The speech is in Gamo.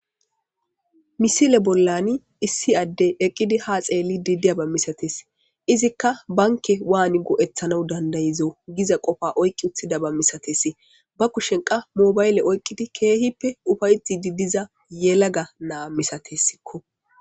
misile bollani issi addey eqqidi ha xeelli didiya ba misates izikka banke waani go'eththana dandayizo giza qofa oyqqi uttida ba misates ba kushen qa mobayle oyqqidi keehippe ufayxettdi diza yelaga naa misatessikko